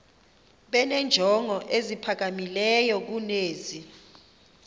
benenjongo eziphakamileyo kunezi